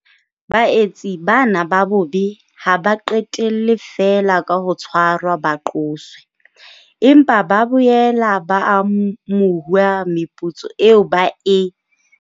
Baetsi bana ba bobe ha ba qetelle feela ka ho tshwarwa ba qoswe, empa ba boela ba amohuwa meputso eo ba e.